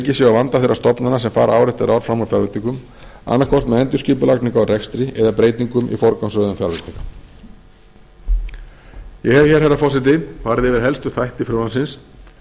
á vanda þeirra stofnana sem fara ár eftir ár fram úr fjárveitingum annaðhvort með endurskipulagingu á rekstri eða breytingum í forgangsröðun fjárveitinga ég hef hér herra forseti farið yfir helstu þætti frumvarpsins